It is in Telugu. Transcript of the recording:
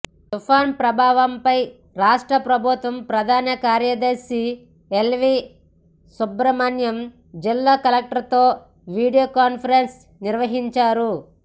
తుపాను ప్రభావంపై రాష్ట్ర ప్రభుత్వ ప్రధాన కార్యదర్శి ఎల్వీ సుబ్రమణ్యం జిల్లా కలెక్టర్లతో వీడియో కాన్ఫరెన్స్ నిర్వహించారు